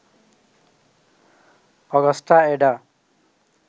Augusta Ada